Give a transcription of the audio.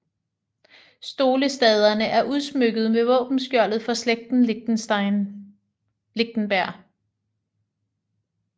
Stolestaderne er udsmykket med våbenskjoldet for slægten Lichtenberg